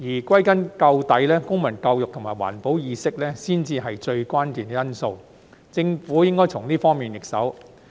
歸根究底，公民教育及環保意識才是最關鍵的因素，政府應該從這方面入手。